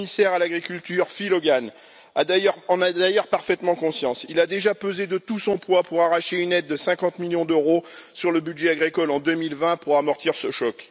Le commissaire à l'agriculture Phil Hogan en a d'ailleurs parfaitement conscience. Il a déjà pesé de tout son poids pour arracher une aide de 50 millions d'euros sur le budget agricole en 2020 pour amortir ce choc.